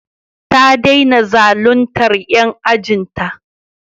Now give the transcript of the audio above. Ta dena zaluntar 'yan ajin ta